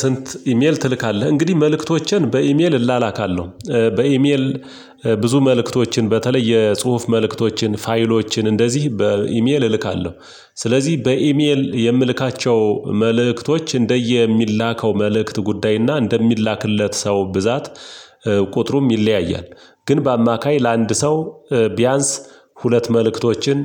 ስንት? ኢሜል ትልካለህ እንግዲህ መልእክቶችን በኢሜል እላላካለሁ በኢሜል። ብዙ መልእክቶችን በተለይ የጽሁፍ መልእክቶችን ፋይሎችን እንደዚህ በኢሜል እልካለሁ። ስለዚህ በኢሜል የምልካቸው መልእክቶች እንደየሚላከው መልእክት ጉዳይ እና እንደሚላክለት ሰው ብዛት ቁጥሩም ይለያያል። ግን በአማካይ ለአንድ ሰው ቢያንስ ሁለት መልእክቶችን